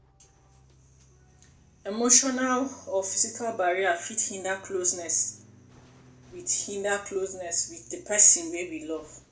emotional or physical barrier fit hinder closeness with hinder closeness with di person wey we love